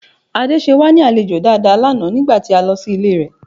Ade ṣe wá ní àlejò dáadáa lánàá nígbà tí a lọ sí ilé rẹ̀